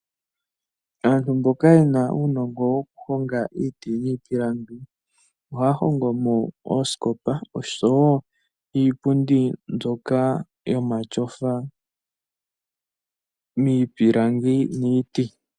Aantu mboka yena uunongo woku honga iiti niipipalangi ohaya hongomo oosikopo oshowo iipundi mbyoka yomatyofa miipilangi niiti.